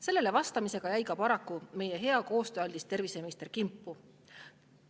Sellele vastamisega jäi paraku ka meie hea ja koostööaldis terviseminister kimpu.